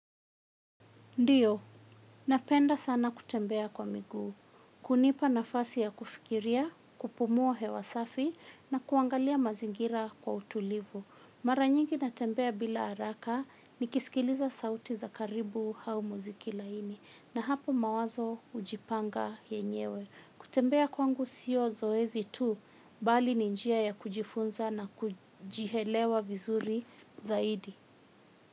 Ndiyo, napenda sana kutembea kwa miguu, kunipa nafasi ya kufikiria, kupumua hewa safi, na kuangalia mazingira kwa utulivu. Mara nyingi natembea bila haraka, nikisikiliza sauti za karibu au muziki laini, na hapo mawazo hujipanga yenyewe. Kutembea kwangu sio zoezi tu, bali ninjia ya kujifunza na kujielewa vizuri zaidi.